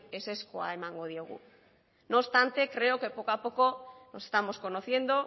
ezezkoa emango diogu no obstante creo que poco a poco nos estamos conociendo